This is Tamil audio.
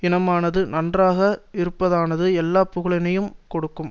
இனமானது நன்றாக இருப்பதானது எல்லா புகழினையும் கொடுக்கும்